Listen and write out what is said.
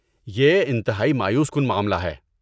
یہ انتہائی مایوس کن معاملہ ہے!